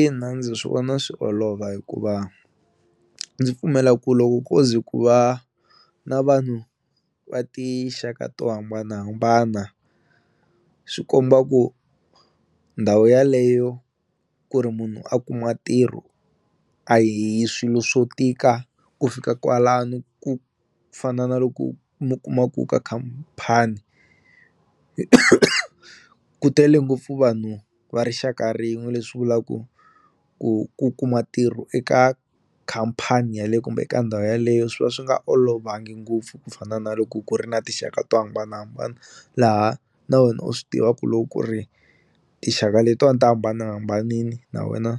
Ina ndzi swi vona swi olova hikuva ndzi pfumela ku loko koze ku va na vanhu va tinxaka to hambanahambana swi komba ku ndhawu yaleyo ku ri munhu a kuma ntirho a hi swilo swo tika ku fika kwalano ku fana na loko mu kuma ku ka khamphani ku tele ngopfu vanhu va rixaka rin'we leswi vulaku ku ku kuma ntirho eka khampani kumbe eka ndhawu yaleyo swi va swi nga olovangi ngopfu ku fana na loko ku ri na tinxaka to hambanahambana laha na wena u swi tivaku loko ku ri tixaka letiwani ti hambanahambanini na wena